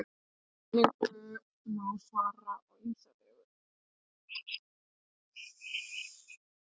þessari spurningu má svara á ýmsa vegu